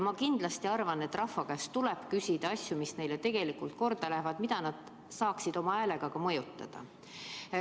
Ma kindlasti arvan, et rahva käest tuleb küsida asju, mis neile tegelikult korda lähevad, mida nad saaksid oma häälega ka mõjutada.